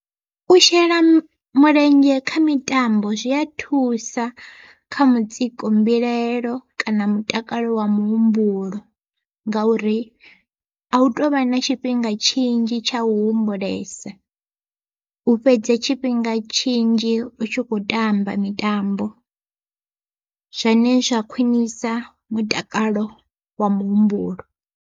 U shela mulenzhe kha mitambo zwi a thusa kha mutsiko, mbilaelo kana mutakalo wa muhumbulo. Ngauri a hu tovha na tshifhinga tshinzhi tsha u humbulesa, u fhedze tshifhinga tshinzhi u tshi kho tamba mitambo zwane zwa khwiṋisa mutakalo wa muhumbulo.